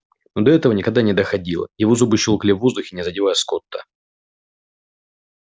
но до этого никогда но доходило его зубы щёлкали в воздухе не задевая скотта